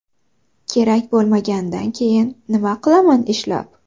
Kerak bo‘lmagandan keyin nima qilaman ishlab.